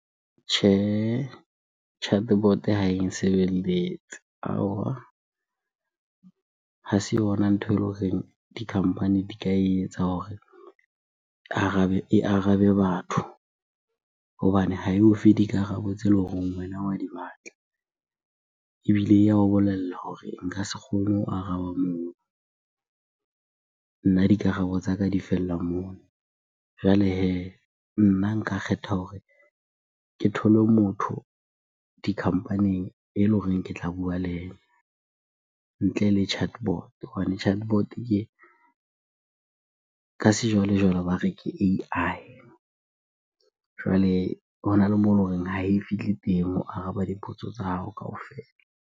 Tjhehe, chatbot ha e nsebeletse . Ha se yona ntho eleng horeng di-company di ka etsa hore e arabe batho hobane ha eo fe dikarabo tse ele horeng wena wa di batla. Ebile ya o bolella hore nka se kgone ho araba moo, nna dikarabo tsa ka di fella moo. Jwale hee, nna nka kgetha hore ke thole motho di-company-ing ele horeng ke tla bua le yena ntle le chatbot hobane chatbot ke, ka sejwalejwale ba re ke A_I. Jwale hona le moo ele horeng ha e fihle teng ho araba dipotso tsa hao kaofela.